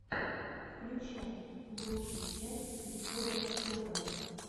включай лучшую часть исхода тв